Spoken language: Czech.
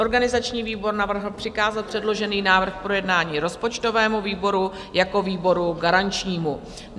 Organizační výbor navrhl přikázat předložený návrh k projednání rozpočtovému výboru jako výboru garančnímu.